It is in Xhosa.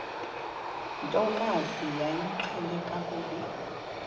ntokazi yayimqhele kakhulu